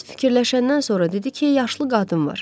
Bir az fikirləşəndən sonra dedi ki, yaşlı qadın var.